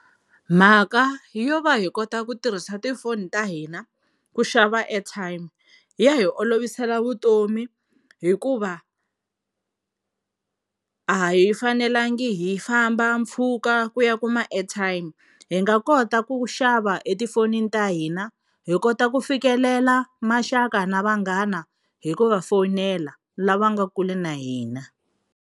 Mhaka yo va hi kota ku tirhisa tifoni ta hina ku xava airtime ya hi olovisela vutomi hikuva a hi fanelangi hi famba mpfhuka ku ya kuma airtime hi nga kota ku xava etifonini ta hina hi kota ku fikelela maxaka na vanghana hi ku va fonela lava nga kule na hina.